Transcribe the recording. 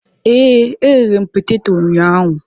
Ee, eghere m peteto ụnyahụ.